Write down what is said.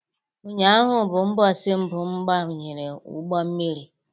Ụnyaahụ bụ ụbọsi mbụ m banyere ụgbọ mmiri